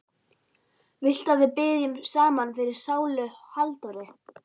Viltu að við biðjum saman fyrir sálu Halldóru?